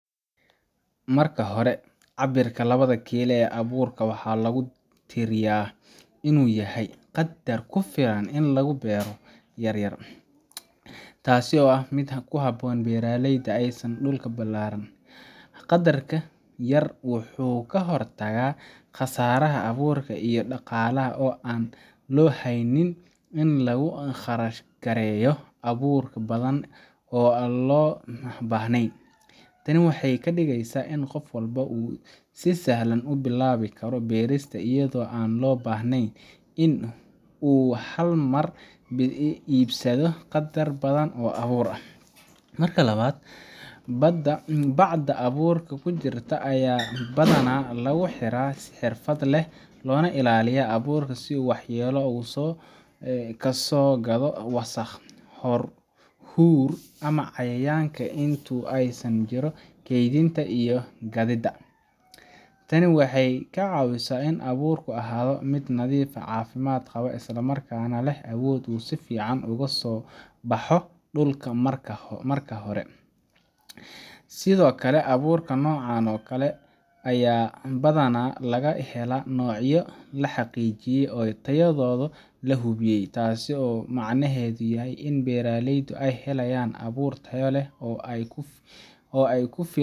Marka hore, cabbirka labada kiila ee abuurka waxaa lagu tiriyaa inuu yahay qaddar ku filan in lagu beero yaryar, taas oo ah mid ku habboon beeraleyda aan haysan dhul ballaaran. Qaddarka yar wuxuu ka hortagaa khasaaraha abuurka iyo dhaqaalaha oo aan loo baahnayn in lagu kharash gareeyo abuur badan oo aan loo baahnayn. Tani waxay ka dhigaysaa in qof walba uu si sahlan u bilaabi karo beerista, iyadoo aan loo baahnayn in uu hal mar iibsado qaddar badan oo abuur ah. Marka labaad, bacda abuurka ku jirta ayaa badanaa lagu xiraa si xirfad leh oo ka ilaalinaysa abuurka inuu waxyeello ka soo gaadho wasakh, huur, ama cayayaanka inta lagu jiro kaydinta iyo gaadiida. Tani waxay ka caawisaa in abuurku ahaado mid nadiif ah, caafimaad qaba, isla markaana leh awood uu si fiican uga soo baxo dhulka marka hore. Sidoo kale, abuurka noocan oo kale ah ayaa badanaa laga helaa noocyo la xaqiijiyay oo tayadooda la hubiyay, taas oo macnaheedu yahay in beeralaydu ay helayaan abuur tayo leh oo ay